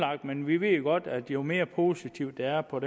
men vi ved jo godt at jo mere positivt det er og